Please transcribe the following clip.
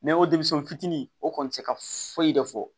denmisɛnnin fitiinin o kɔni tɛ ka foyi de fɔ